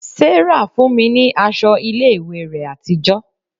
Sarah fún mi ní aṣọ ilé ìwé rẹ̀ àtijọ́